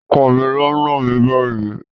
Ọkọ mi ló náà mi báyìí.